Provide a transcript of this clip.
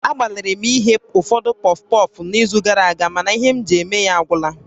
Agbalịrị m ighe ụfọdụ pọfpọf n'izu gara aga mana ihe m ji eme ya agwụla